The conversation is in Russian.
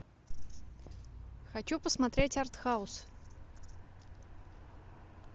хочу посмотреть арт хаус